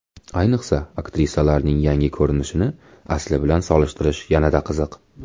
Ayniqsa, aktrisalarning yangi ko‘rinishini asli bilan solishtirish yanada qiziq.